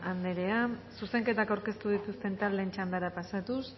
anderea zuzenketak aurkeztu dituzten taldeen txandara pasatuz